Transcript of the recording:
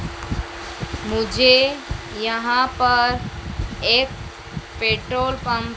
मुझे यहां पर एक पेट्रोल पंप --